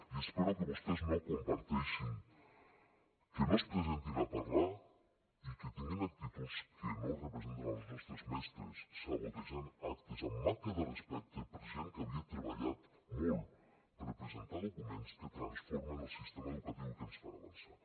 i espero que vostès no comparteixin que no es presentin a parlar i que tinguin actituds que no representen els nostres mestres sabotejant actes amb manca de respecte per a gent que havia treballat molt per presentar documents que transformen el sistema educatiu i que ens fan avançar